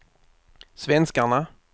svenskarna